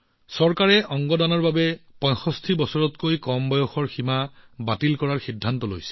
চৰকাৰে অংগ দানৰ বাবে ৬৫ বছৰৰ তলৰ বয়সৰ সীমাও বাতিল কৰাৰ সিদ্ধান্ত লৈছে